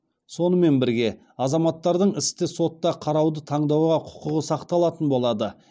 сонымен бірге азаматтардың істі сотта қарауды таңдауға құқығы сақталатын болады